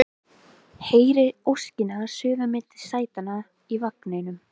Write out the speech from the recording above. Heyri óskina suða milli sætanna í vagninum